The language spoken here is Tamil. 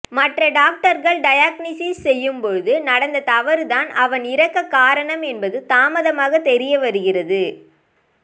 மற்ற டாக்டர்கள் டயக்னிசிஸ் செய்யும்போது நடந்த தவறுதான் அவன் இறக்கக் காரணம் என்பது தாமதமாக தெரியவருகிறது